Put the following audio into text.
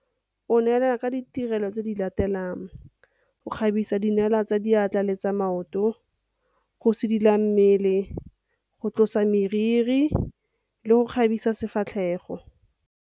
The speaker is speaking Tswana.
O neelana ka ditirelo tse di latelang - go kgabisa dinala tsa diatla le tsa maoto, go sidila mmele, go tlosa meriri le go kgabisa sefatlhego.